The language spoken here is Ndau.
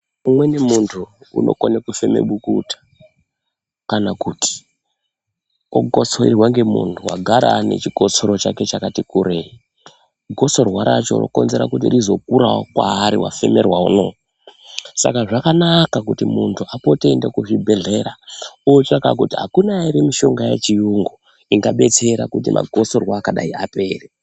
Umweni muntu unokone kufeme bukuta kana kuti okotsorerwa ngemuntu agara anechikotsoro chake chatikurei, gotsorwa racho rokonzera kuti rizokurawo paari wafemerwa uya. Saka zvakanaka kuti muntu apote eiende kuzvibhedhlera otsvaka kuti akuna ere mishonga yechiyungu ingabetsera kuti magotsorwa akadai apere.